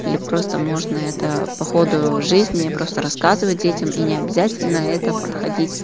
или просто можно это походу в жизни я просто рассказывать детям и необязательно это